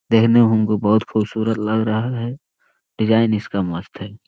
देखने में हमको बहुत खूबसूरत लग रहा है डिज़ाइन इसका मस्त है।